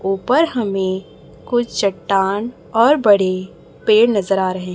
ऊपर हमें कुछ चट्टान और बड़े पेड़ नजर आ रहें--